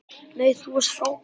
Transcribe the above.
Nei, þú varst frábær!